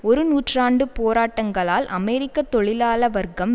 ஒரு நூற்றாண்டு போராட்டங்களால் அமெரிக்க தொழிலாள வர்க்கம்